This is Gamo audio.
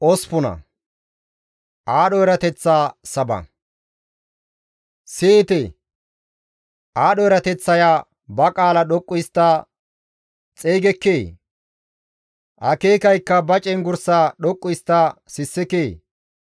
Siyite! Aadho erateththaya ba qaala doqqu histta xeygekkee? Akeekaykka ba cenggurssaa dhoqqu histta sissekee?